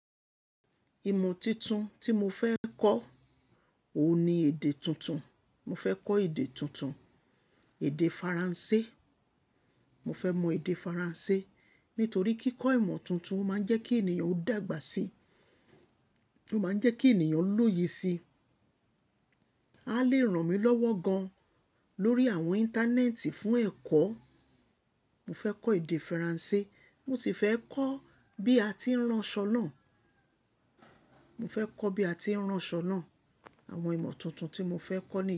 Ìmọ̀ tuntun tí mo fẹ́ kọ́, òun ni èdè tuntun. Mo fẹ́ kọ́ èdè tuntun, èdè Faransé. Mo fẹ́ mọ èdè Faransé, nítorí kí kọ́ ìmọ̀ tuntun ó máa ń jẹ́ kí ènìyàn ó dàgbà sí, ó máa ń jẹ́ kí ènìyàn lóye sí. A lè ràn mí lọ́wọ́ gan lórí àwọn íńtánẹ́ẹ̀tì fún ẹ̀kọ́. Mo fẹ́ kọ́ èdè Faransé, mo sì fẹ́ kọ́ bí a ti ń rán ṣọ́nà. Mo fẹ́ kọ́ bí a ti ń rán ṣọ́nà. Àwọn ìmọ̀ tuntun tí mo fẹ́ kọ́ nìyẹn.